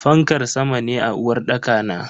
Fankar sama ne a uwarɗaka na.